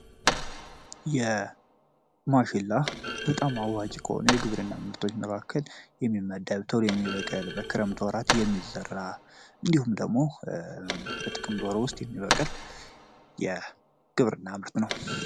የማሽላ በጣም አዋጭ ከሆኖ የግብር እና ምርቶች መካከል የሚመደብተውል የሚበቀል በክረምት ወራት የሚዘራ እንዲሁም ደግሞ በጥቅም ወር ውስጥ የሚበቀል የግብርና ምርት ነው።